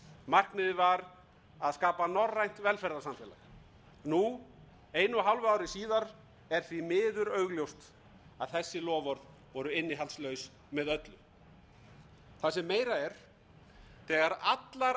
markmiðið var að skapa norrænt velferðarsamfélag nú einu og hálfu ári síðar er því miður augljóst að þessi loforð voru innihaldslaus með öllu það sem meira er þegar allar